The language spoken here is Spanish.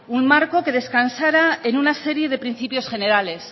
un marco que descansara en una serie de principios generales